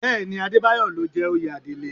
Bẹ́ẹ̀ ni, Adébáyọ̀ ló jẹ oyè Adelé